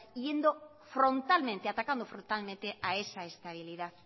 hiriendo frontalmente atacando frontalmente a esa estabilidad